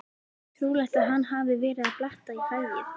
Trúlegt að hann hafi verið að bletta í hræið.